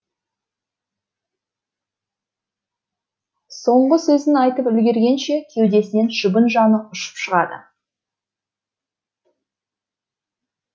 соңғы сөзін айтып үлгергенше кеудесінен шыбын жаны ұшып шығады